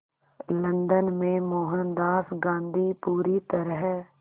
London में मोहनदास गांधी पूरी तरह